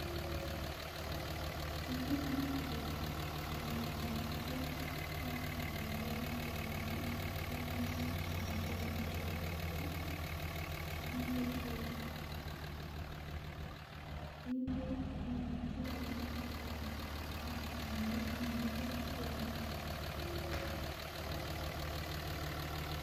tos imuch iororwon olemi panganutiet ab omitwogik chebo magaweet ab chaina chegiibe chegigigoji alamet ab barack missing yenegit nenyun